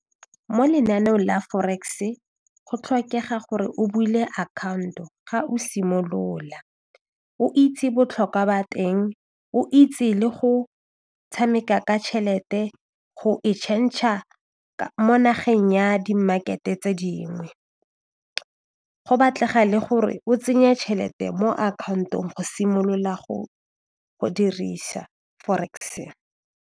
Mo lenaneong la forex-e go tlhokega gore o bule akhaonto ga o simolola o itse botlhokwa ba teng, o itse le go tshameka ka tšhelete go e change-a mo nageng ya di market-e tse dingwe go batlega le gore o tsenye tšhelete mo akhaontong go simolola go dirisa forex.